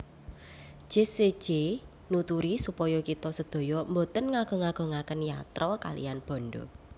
Jesse J nuturi supaya kita sedaya mboten ngagung agungaken yatra kaliyan bandha